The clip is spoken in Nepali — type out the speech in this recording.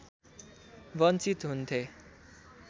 वञ्चित हुन्थे